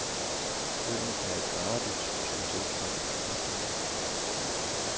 Øen er et paradis, som tiltrækker turister.